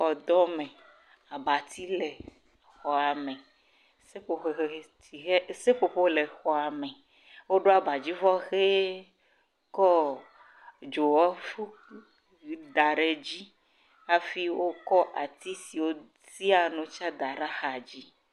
Xɔdɔme. Abati le xɔa me. Seƒoƒo he tiʋe. Seƒoƒo le xɔa me. Woɖo abadzivɔ ʋee kɔɔ dzowɔ ƒuƒu da ɖe dzi hafi wokɔ ati si wotiaa nu tsɛ da ɖe axadzi.